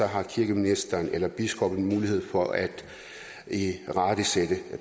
har kirkeministeren eller biskoppen en mulighed for at irettesætte